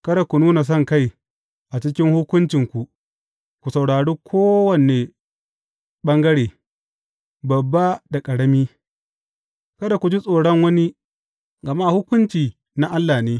Kada ku nuna sonkai a cikin hukuncinku, ku saurari kowane ɓangare, babba da ƙarami, kada ku ji tsoron wani, gama hukunci na Allah ne.